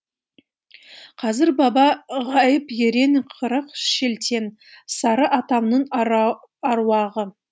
қызыр баба ғайып ерен қырық шілтен сары атамның аруағы